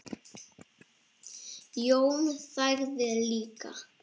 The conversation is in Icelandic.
Jón þagði líka.